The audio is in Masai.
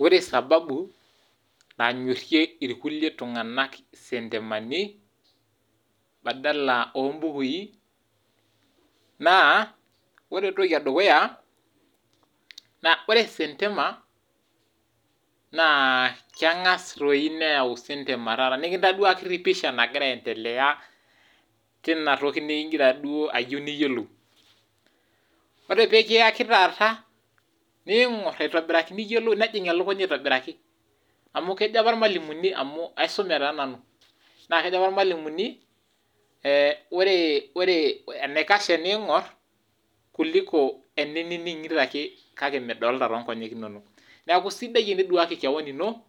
Wore sababu nanyorie irkulie tunganak sentemani, badala oombukui , naa wore entoki edukuya ,naa wore sentema naa kegas doi neyau sentema taata, nikintoduaki pisha nagira aendelea tina toki nigira duo ayeu niyolou. Wore pee kiyaki taata , niingorr aitobiraki nejing elukunya aitobiraki .Amu kejo apa irmwalimuni ,amu aisume taa nanu naa kejo apa irmwalimuni, eeh wore wore , enaikash teeningorr kuliko eneningito ake kake midolita toongonyek inonok . Niaku isidai teniduaki kewon ino